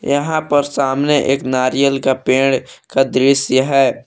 यहां पर सामने एक नारियल का पेड़ का दृश्य है।